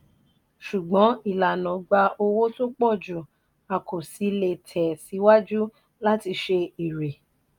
ṣùgbọ́n ìlànà gba owó tó pò ju a kò sì lè tẹ síwájú láti ṣe èrè.